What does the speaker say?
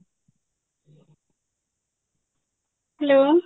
hello